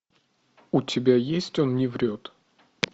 у тебя есть он не врет